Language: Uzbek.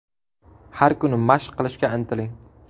Har kuni mashq qilishga intiling.